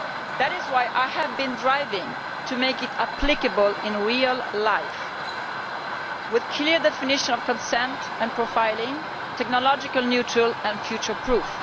That is why I have been pushing to make it applicable in real life, with a clear definition of consent and with profiling that is technologically neutral and future proof.